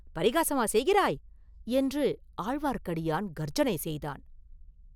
பரிகாசமா செய்கிறாய்?” என்று ஆழ்வார்க்கடியான் கர்ஜனை செய்தான்.